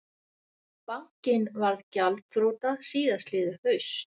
Bankinn varð gjaldþrota síðastliðið haust